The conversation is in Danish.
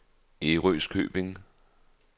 Ærøskøbing